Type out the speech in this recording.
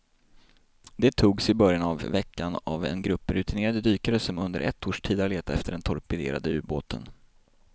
De togs i början av veckan av en grupp rutinerade dykare som under ett års tid har letat efter den torpederade ubåten.